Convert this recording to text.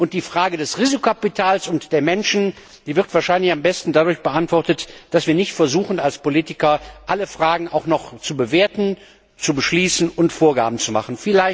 Die Frage des Risikokapitals und der Menschen wird wahrscheinlich am besten dadurch beantwortet, dass wir als Politiker nicht versuchen, alle Fragen auch noch zu bewerten, zu beschließen und Vorgaben zu machen.